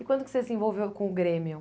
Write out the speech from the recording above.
E quando que você se envolveu com o Grêmio?